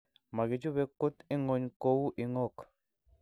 Makibuche kut ing�ony kou ing�ok